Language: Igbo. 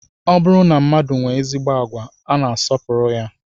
Ọ bụrụ na mmadụ nwee ezigbo agwa, a na-asọpụrụ ya